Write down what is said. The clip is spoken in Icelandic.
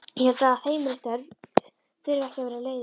Ég held að heimilisstörf þurfi ekki að vera leiðinleg.